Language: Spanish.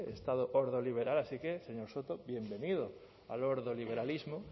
estado ordoliberal así que señor soto bienvenido al ordoliberalismo